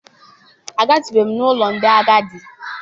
Agatụbeghị m n'ụlọ ndị agadi.